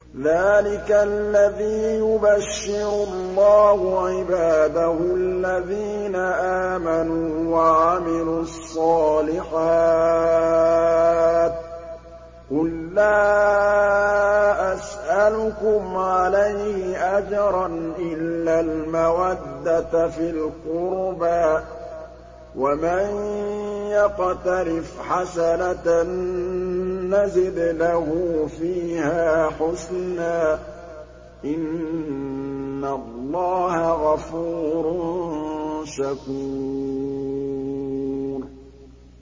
ذَٰلِكَ الَّذِي يُبَشِّرُ اللَّهُ عِبَادَهُ الَّذِينَ آمَنُوا وَعَمِلُوا الصَّالِحَاتِ ۗ قُل لَّا أَسْأَلُكُمْ عَلَيْهِ أَجْرًا إِلَّا الْمَوَدَّةَ فِي الْقُرْبَىٰ ۗ وَمَن يَقْتَرِفْ حَسَنَةً نَّزِدْ لَهُ فِيهَا حُسْنًا ۚ إِنَّ اللَّهَ غَفُورٌ شَكُورٌ